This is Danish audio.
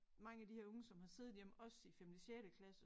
Mange af de her unge som har siddet hjemme også i femte sjette klasse